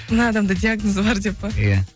мына адамда диагнозы бар деп пе иә